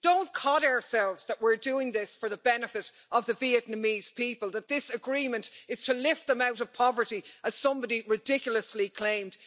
Don't kid ourselves that we're doing this for the benefit of the Vietnamese people, that this agreement is to lift them out of poverty, as somebody ridiculously claimed.